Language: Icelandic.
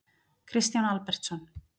Kristján Albertsson.